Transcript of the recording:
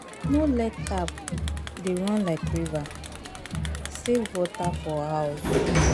No let tap dey run like river, save water for house